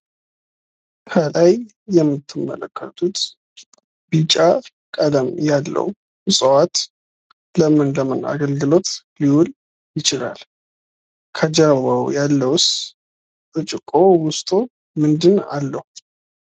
ከላይ የምትመለከቱት ቢጫ ቀለም ያለው እጽዋት ለምን ለምን አገልግሎት ሊውል ይችላል። ከጀርባው ያለው ብርጭቆ ውስጡ ምንድን አለው?